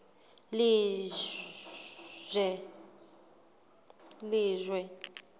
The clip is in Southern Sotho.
lejwe